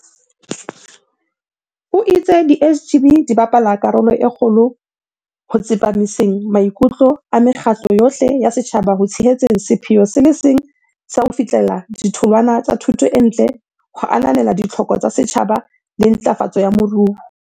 O itse di SGB di bapala karolo e kgolo ho tsepamiseng maikutlo a mekgatlo yohle ya setjhaba ho tshehetseng sepheo se le seng sa ho fihlella ditholwana tsa thuto e ntle ho ananela ditlhoko tsa setjhaba le ntlafatso ya moruo.